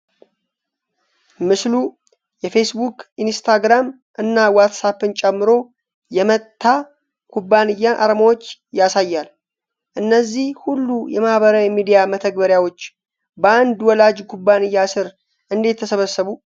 ምስል የፌስቡክ፣ ኢንስታግራም እና ዋትስአፕን ጨምሮ የ"መታ" ኩባንያን አርማዎች ያሳያል። እነዚህ ሁሉ የማህበራዊ ሚዲያ መተግበሪያዎች በአንድ ወላጅ ኩባንያ ስር እንዴት ተሰበሰቡ?